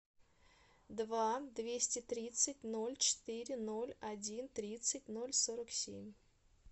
два двести тридцать ноль четыре ноль один тридцать ноль сорок семь